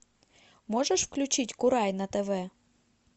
можешь включить курай на тв